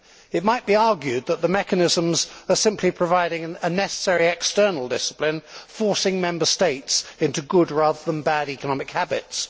It might be argued that the mechanisms are simply providing a necessary external discipline, forcing Member States into good, rather than bad, economic habits.